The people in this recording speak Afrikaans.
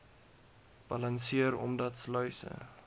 balanseer omdat sluise